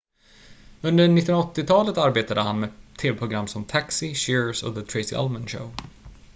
under 1980-talet arbetade han med tv-program som taxi cheers och the tracy ullman show